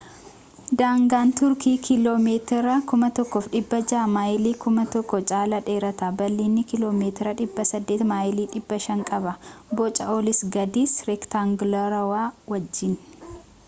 daangaan tuurkii kiiloo meetira 1600 maayilii 1,000 caalaa dheerata bal’iinna kiiloo meetira 800 maayilii 500 qaba boca olis gadis reektaanguulaarawaa wajjin